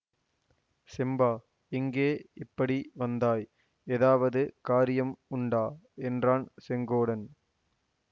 செம்பா எங்கே இப்படி வந்தாய் ஏதாவது காரியம் உண்டா என்றான் செங்கோடன்